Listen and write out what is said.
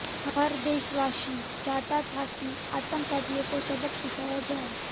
हर देशवासी चाहता था कि आतंकियों को सबक सिखाया जाए